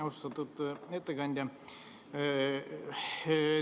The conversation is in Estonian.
Austatud ettekandja!